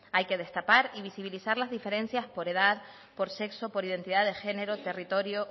hay que destapar y visibilizar las diferencias por edad por sexo por identidad de género territorio